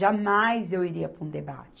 eu iria para um debate.